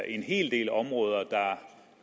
en hel del områder